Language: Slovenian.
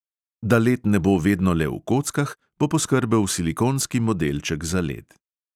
Da led ne bo vedno le v kockah, bo poskrbel silikonski modelček za led.